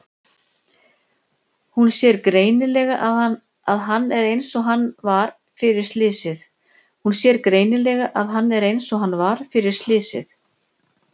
Hún sér greinilega að hann er einsog hann var fyrir slysið.